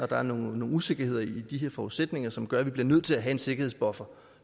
der er nogle usikkerheder i de her forudsætninger som gør at man bliver nødt til at have en sikkerhedsbuffer